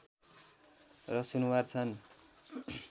र सुनुवार छन्